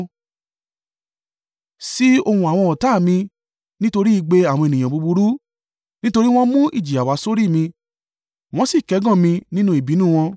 Sí ohùn àwọn ọ̀tá ni, nítorí igbe àwọn ènìyàn búburú; nítorí wọ́n mú ìjìyà wá sórí mi, wọ́n sì kẹ́gàn mi nínú ìbínú wọn.